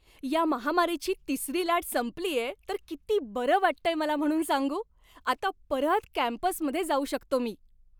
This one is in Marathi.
या महामारीची तिसरी लाट संपलीये तर किती बरं वाटतंय मला म्हणून सांगू. आता परत कॅम्पसमध्ये जाऊ शकतो मी.